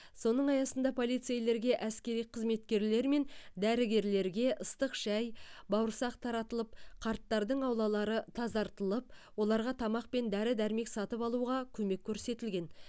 соның аясында полицейлерге әскери қызметкерлер мен дәрігерлерге ыстық шай бауырсақ таратылып қарттардың аулалары тазартылып оларға тамақ пен дәрі дәрмек сатып алуға көмек көрсетілген